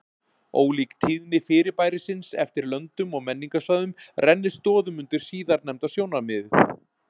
ólík tíðni fyrirbærisins eftir löndum og menningarsvæðum rennir stoðum undir síðarnefnda sjónarmiðið